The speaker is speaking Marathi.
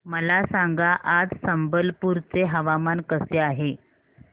मला सांगा आज संबलपुर चे हवामान कसे आहे